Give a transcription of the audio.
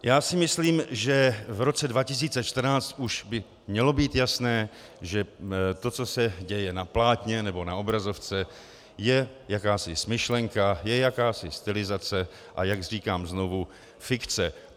Já si myslím, že v roce 2014 už by mělo být jasné, že to, co se děje na plátně nebo na obrazovce, je jakási smyšlenka, je jakási stylizace, a jak říkám znovu, fikce.